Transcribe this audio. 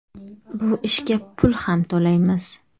Bu ishga pul ham to‘laymiz.